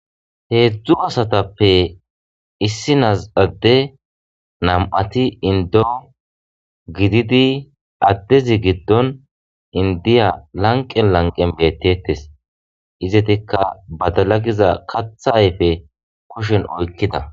Hezhu asatappe issinas adde nam'ati indo gididi addezi gidon indiya lanqe lanqen bettites.izzetika badala Giza katha ayfe kushen oykida.